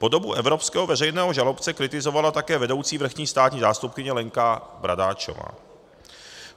Podobu evropského veřejného žalobce kritizovala také vedoucí vrchní státní zástupkyně Lenka Bradáčová.